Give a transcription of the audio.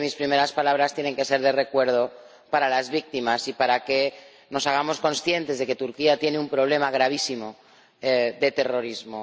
Así que mis primeras palabras tienen que ser de recuerdo para las víctimas y para que nos hagamos conscientes de que Turquía tiene un problema gravísimo de terrorismo.